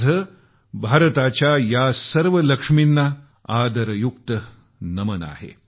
माझं भारताच्या या सर्व लक्ष्मींना आदरयुक्त नमन आहे